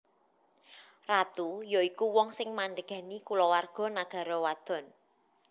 Ratu ya iku wong sing mandhégani kulawarga nagara wadon